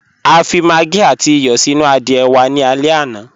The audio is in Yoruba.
A fi màggí àtì ìyọ́ sínu àdìẹ̀ wà ní àlẹ̀ àná.